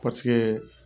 Paseke